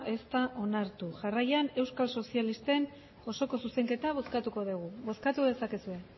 ez da onartu jarraian euskal sozialisten osoko zuzenketa bozkatuko dugu bozkatu dezakezue